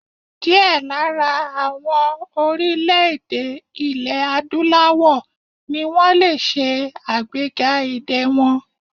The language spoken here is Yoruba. Díẹ̀ lára àwọn orílè-èdè ilè Adúláwọ̀ ni wọ́n lè ṣe àgbéga èdè wọn.